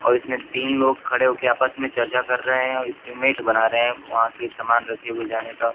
और इसमें तीन लोग खड़े हो के आपस में चर्चा कर रहे हैं और एस्टीमेट बना रहे हैं वहां के सामान रखे हुए जाने का।